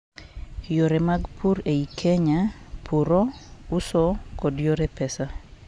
yore mag pur ei kenya ; puro, uso, kod yore pesa